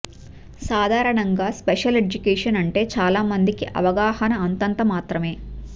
సాధారణంగా special education అంటే చాలా మందికి అవ గాహన అంతంతమాత్రమే